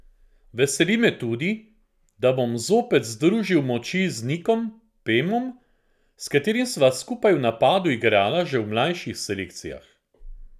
Veseli me tudi, da bom zopet združil moči z Nikom Pemom, s katerim sva skupaj v napadu igrala že v mlajših selekcijah.